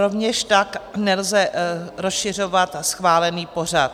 Rovněž tak nelze rozšiřovat schválený pořad.